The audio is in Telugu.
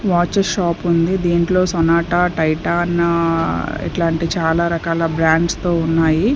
వాచ్ షాపుంది దీంట్లో సొనాటా టైటాన్ ఇట్లాంటి చాలా రకాల బ్రాండ్స్ తో ఉన్నాయి.